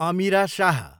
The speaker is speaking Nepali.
अमिरा शाह